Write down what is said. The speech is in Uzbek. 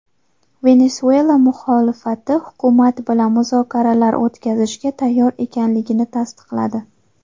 Venesuela muxolifati hukumat bilan muzokaralar o‘tkazishga tayyor ekanligini tasdiqladi.